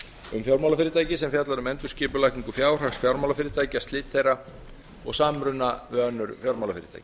um fjármálafyrirtæki sem fjallar um endurskipulagningu fjárhags fjármálafyrirtækja slit þeirra og samruna við önnur fjármálafyrirtæki